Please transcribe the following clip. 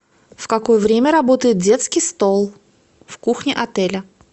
в какое время работает детский стол в кухне отеля